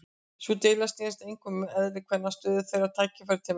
Sú deila snerist einkum um eðli kvenna, stöðu þeirra og tækifæri til menntunar.